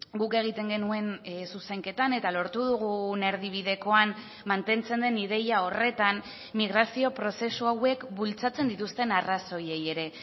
guk egiten genuen zuzenketan eta lortu dugun erdibidekoan mantentzen den ideia horretan migrazio prozesu hauek bultzatzen dituzten arrazoiei ere